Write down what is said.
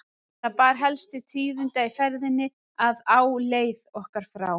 Það bar helst til tíðinda í ferðinni að á leið okkar frá